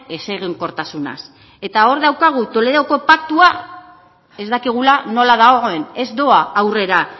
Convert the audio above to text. ezegonkortasunaz eta hor daukagu toledoko paktua ez dakigula nola dagoen ez doa aurrera